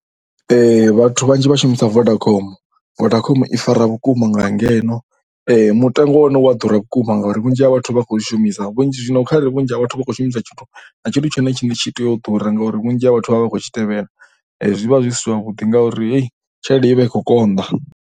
Vhathu vhanzhi vha shumisa Vodacom, Vodacom i fara vhukuma nga ngeno, mutengo wa hone u ya ḓura vhukuma ngauri vhunzhi ha vhathu vha khou shumisa. Vhunzhi, zwino kharali vhunzhi ha vhathu vha khou shumisa tshithu na tshithu tshone tshine tshi tea u ḓura ngauri vhunzhi ha vhathu vha vha khou tshi tevhela zwi vha zwi si zwavhuḓi ngauri hei tshelede i vha i khou konḓa.